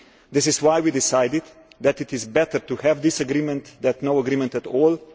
This is why we decided that it is better to have this agreement than no agreement at all.